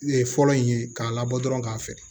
Fɔlɔ in ye k'a labɔ dɔrɔn k'a fɛ